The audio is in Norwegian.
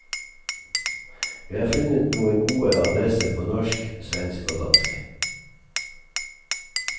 Vi har funnet noen gode adresser på norsk, svensk og dansk.